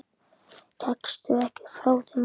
Gekkstu ekki frá þeim málum?